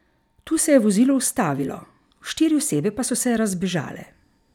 Tu se je vozilo ustavilo, štiri osebe pa so se razbežale.